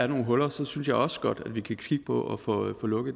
nogle huler synes jeg også godt vi kan kigge på at få lukket